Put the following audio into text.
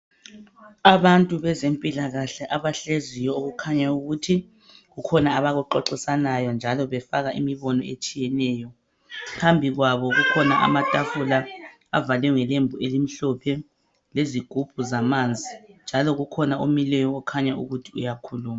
Abantu bezempilakahle abahleziyo okukhanya ukuthi kukhona abakuxoxisanayo njalo befaka imibono etshiyeneyo. Phambi kwabo kukhona amatafula avalwe ngelembu elimhlophe lezigubhu zamanzi njalo kukhona omileyo okhanya ukuthi uyakhuluma.